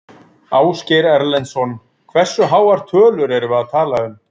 Ásgeir Erlendsson: Hversu háar tölur erum við að tala um?